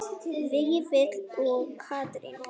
Vífill og Katrín.